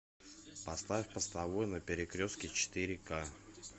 поставь постовой на перекрестке четыре ка